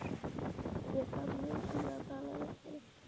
Ég þarf nauðsynlega að tala við þig.